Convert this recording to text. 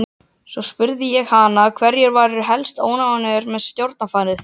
Svo spurði ég hana hverjir væru helst óánægðir með stjórnarfarið.